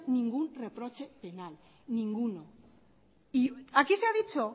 ningún reproche penal y aquí se ha dicho